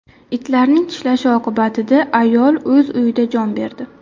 Itlarning tishlashi oqibatida ayol o‘z uyida jon berdi.